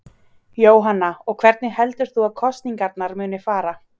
Jóhanna: Og hvernig heldur þú að kosningarnar muni fara?